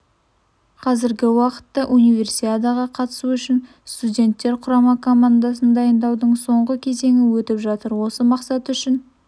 қазіргі уақытта универсиадаға қатысу үшін студенттер құрама командасын дайындаудың соңғы кезеңі өтіп жатыр осы мақсат үшін